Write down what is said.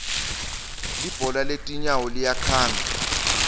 libhola letinyawo liyakhanga